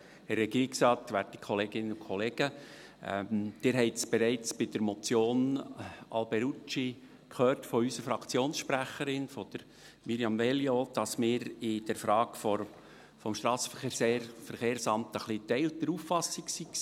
Sie haben bei der Motion Alberucci bereits von unserer Fraktionssprecherin Mirjam Veglio gehört, dass wir zur Frage des SVSA geteilter Auffassung waren.